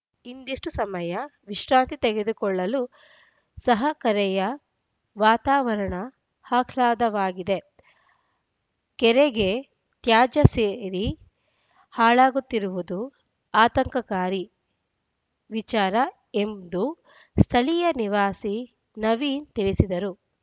ಇಂದಿಷ್ಟುಸಮಯ ವಿಶ್ರಾಂತಿ ತೆಗೆದುಕೊಳ್ಳಲು ಸಹ ಕೆರೆಯ ವಾತಾವರಣ ಆಹ್ಲಾದವಾಗಿದೆ ಕೆರೆಗೆ ತ್ಯಾಜ್ಯ ಸೇರಿ ಹಾಳಾಗುತ್ತಿರುವುದು ಆತಂಕಕಾರಿ ವಿಚಾರ ಎಂದು ಸ್ಥಳೀಯ ನಿವಾಸಿ ನವೀನ್‌ ತಿಳಿಸಿದರು